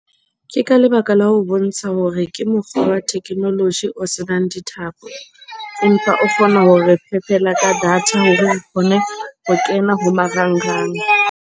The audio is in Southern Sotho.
Ke ka lebaka la ho bontsha hore ke mokgwa wa technology o senang dithapo. Empa o kgona hore re fepela ka data hore re kgone ho kena ho marangrang.